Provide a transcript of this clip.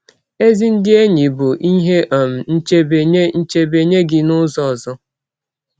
Ezi ndị enyi bụ ihe um nchebe nye nchebe nye gị n’ụzọ ọzọ.